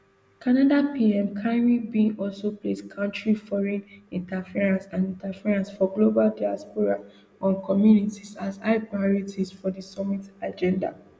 canada pm carney bin also place countering foreign interference and interference for global diaspora um communities as high priorities for di summit agenda